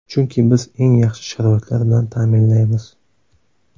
Chunki biz eng yaxshi sharoitlar bilan ta’minlaymiz.